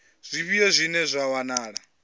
zwifhio zwine zwa nga wanala